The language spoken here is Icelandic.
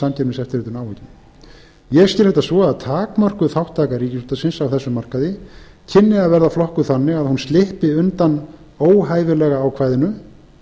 samkeppniseftirlitinu áhyggjum ég skil þetta svo að takmörkuð þátttaka ríkisútvarpsins á þessum markaði kynni að vera flokkuð þannig að hún slyppi undan óhæfilega ákvæðinu